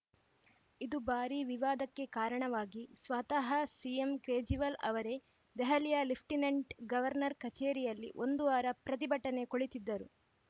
ಇದು ಭಾರೀ ವಿವಾದಕ್ಕೆ ಕಾರಣವಾಗಿ ಸ್ವತಃ ಸಿಎಂ ಕೇಜ್ರಿವಾಲ್‌ ಅವರೇ ದೆಹಲಿಯ ಲೆಫ್ಟಿನೆಂಟ್‌ ಗವರ್ನರ್‌ ಕಚೇರಿಯಲ್ಲಿ ಒಂದು ವಾರ ಪ್ರತಿಭಟನೆ ಕುಳಿತಿದ್ದರು